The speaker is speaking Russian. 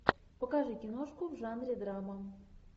покажи киношку в жанре драма